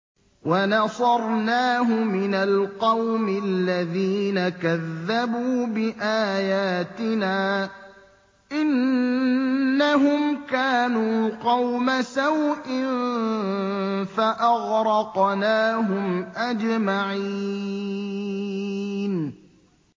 وَنَصَرْنَاهُ مِنَ الْقَوْمِ الَّذِينَ كَذَّبُوا بِآيَاتِنَا ۚ إِنَّهُمْ كَانُوا قَوْمَ سَوْءٍ فَأَغْرَقْنَاهُمْ أَجْمَعِينَ